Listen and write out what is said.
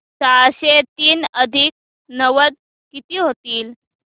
सहाशे तीन अधिक नव्वद किती होतील